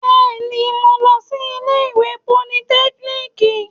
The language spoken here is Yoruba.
Bẹ́ẹ̀ni, mo lọ sí ilé ìwé politẹ́kíníìkì